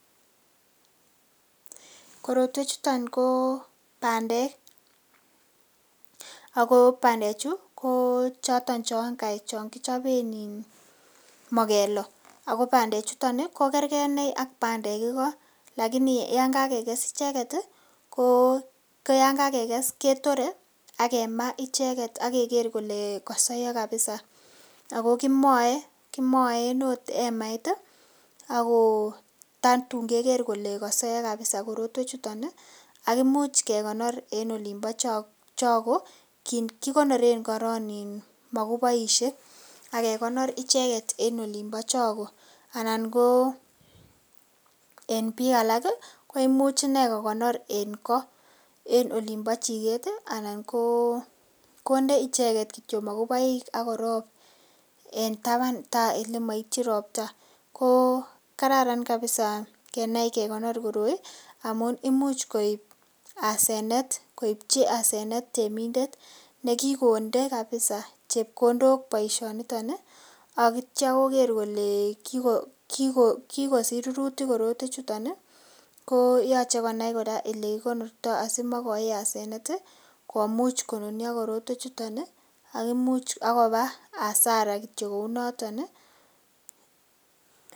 Korotwechuto ko bandek, ago bandechu kochoton chon kichoben mugeloo, ago bandechuton ko kerge iney ak bandek igo, lakini yan kagekes icheget ko koyan kagekes ketore ak kemaa icheget ak keger kole kosoiyo kapisa ago kimoe, kimoen agot emait ago tatun keger kele kosoiyo kapisa korotwechuton ak imuch kekonor enolinbo chogo kigonoren korong moguboishek ak kekonor icheget en olinbo chogo anan ko en biik alak koimuch iney kokonor en ko en olinbo chiget anan konde icheget kityo moguboik ak kor ko korop en taban tai ole moityin ropta, ko karan kapisa kenai kekonor koroi amun imuch koipchi hasenet temindet nekikonde kapisa chepkondok boisioonito ak kityo koger kole kigosich rurutik korotwechuton ko yoche konai kora ole kigonorto asimoigochi hasenet komuch konunyo korotwechuton ak koba hasara kityo kou noton.